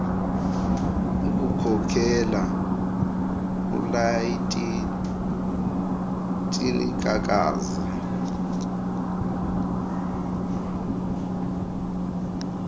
kukhokela ulaetitia kakaza